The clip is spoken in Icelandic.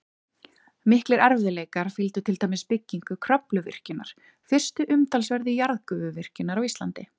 Miklir erfiðleikar fylgdu til dæmis byggingu Kröfluvirkjunar, fyrstu umtalsverðu jarðgufuvirkjunar á Íslandi.